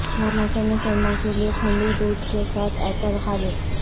موسم سرما کے لئے کھنڈی دودھ کے ساتھ ایپل خالص